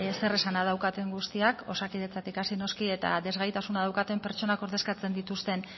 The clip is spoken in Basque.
zeresana daukaten guztiak osakidetzatik hasita noski eta ezgaitasuna daukaten pertsonak ordezkatzen dituzten